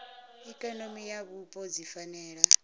ikonomi na vhupo dzi fanela